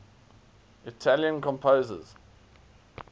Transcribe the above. italian composers